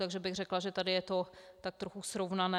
Takže bych řekla, že tady je to tak trochu srovnané.